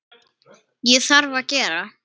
Það þarf að gera.